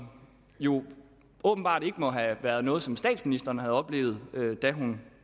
jo åbenbart må have været noget som statsministeren ikke oplevede da hun